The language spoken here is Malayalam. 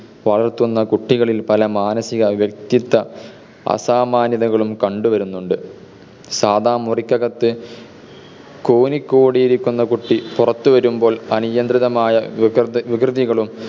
വളർത്തുന്ന കുട്ടികളിൽ പല മാനസിക വ്യക്തിത്വ അസാമാന്യതകളും കണ്ടുവരുന്നുണ്ട്. സാദാ മുറിക്കകത്തു കൂനിക്കൂടി ഇരിക്കുന്ന കുട്ടി പുറത്തു വരുമ്പോൾ അനിയന്ത്രിതമായ വികൃതികളും